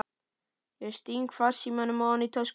Ég sting farsímanum ofan í tösku.